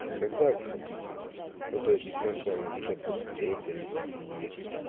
то когда вы хотите ну то есть мы с вами получается встретились и